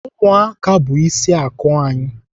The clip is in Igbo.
Ụmụaka bụ ịsị akụ anyị.